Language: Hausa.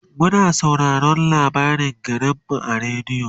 muna sauraraon labarin garinmu a radio